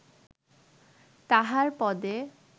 তাঁহার পদে